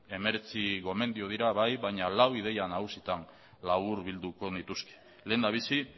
hemeretzi gomendio dira bai baina lau ideia nagusitan laburbilduko nituzke lehendabizi